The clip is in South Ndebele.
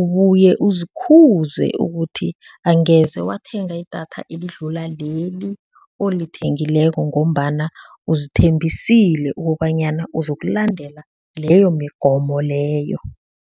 ubuye uzikhuze ukuthi angeze wathenga idatha elidlula leli olithengileko ngombana uzithembisile ukobanyana uzokulandela leyo migomo leyo.